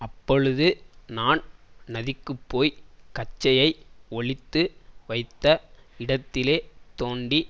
அப்பொழுது நான் நதிக்குப்போய் கச்சையை ஒளித்து வைத்த இடத்திலே தோண்டி